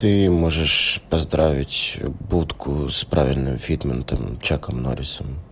ты можешь поздравить будку с правильным фитментом чаком норрисом